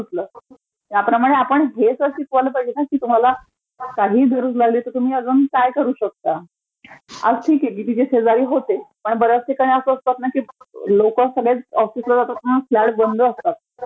सूचलं, ह्याप्रमाणे आपणं हे तर शिकवायला पाहिजे ना की तुम्हाला काही गरज लागली तर तुम्ही अजून काय करू शकता, आज ठीक आहे की तिथे तिचे शेजारी होते, पण बऱ्याच ठीकाणी आज असं असतं ना की सगळेचं ऑफीसला जातात ना तर फ्लॅट बंद असतात